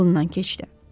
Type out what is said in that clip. Ağlından keçdi.